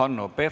Aitäh!